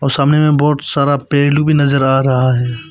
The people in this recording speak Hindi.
सामने में बहुत सारा पेड़ भी नजर आ रहा है।